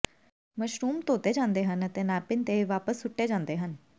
mushrooms ਧੋਤੇ ਜਾਂਦੇ ਹਨ ਅਤੇ ਨੈਪਿਨ ਤੇ ਵਾਪਸ ਸੁੱਟ ਦਿੱਤੇ ਜਾਂਦੇ ਹਨ